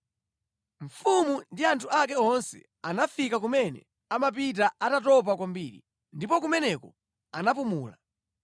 Mfumu ndi anthu ake onse anafika kumene amapita atatopa kwambiri. Ndipo kumeneko anapumula.